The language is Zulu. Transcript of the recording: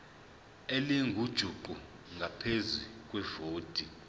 elingujuqu ngaphezu kwevoti